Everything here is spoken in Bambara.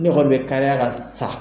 Ne kɔni bɛ kariya ka sa